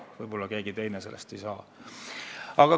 Võib-olla keegi teine ei saa sellest aru.